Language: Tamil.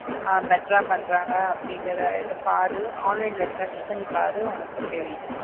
ஆஹ் better பண்றாங்க அப்படிங்கிற இது பாரு online ல search பண்ணி பாரு உனக்கு தெரியும்.